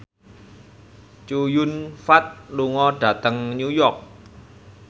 Chow Yun Fat lunga dhateng New York